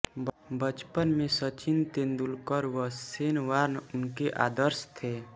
बचपन में सचिन तेंदुलकर व शेन वॉर्न उनके आदर्श थे